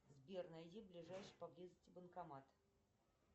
сбер найди ближайший по близости банкомат